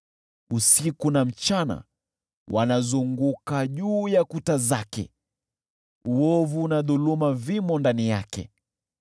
Usiku na mchana wanazunguka juu ya kuta zake, uovu na dhuluma vimo ndani yake.